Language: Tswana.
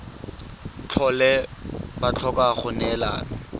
tlhole ba tlhoka go neelana